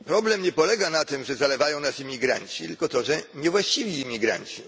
Problem nie polega na tym, że zalewają nas imigranci, tylko na tym, że niewłaściwi imigranci.